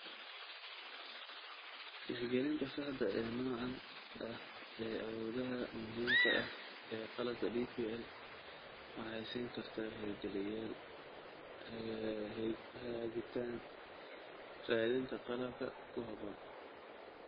Tixgelinta saxda ah ee noocaan ah ee awoodaha muhiimka ah ee qalabka DPL waxay siin kartaa hirgeliyeyaal hagitaan raadinta qalabka ku habboon.